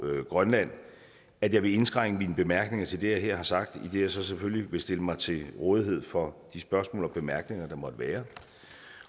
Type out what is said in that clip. grønland at jeg vil indskrænke mine bemærkninger til det jeg her har sagt idet jeg så selvfølgelig vil stille mig til rådighed for de spørgsmål og bemærkninger der måtte være